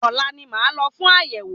Ọ̀la ni màá lọ fún àyẹ̀wò.